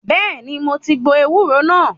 Bẹ́ẹ̀ni, mo ti gbo ewúro náà.